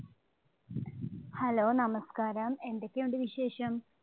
Hello നമസ്കാരം, എന്തൊക്കെയുണ്ട് വിശേഷം?